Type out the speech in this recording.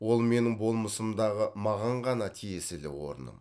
ол менің болмысымдағы маған ғана тиесілі орным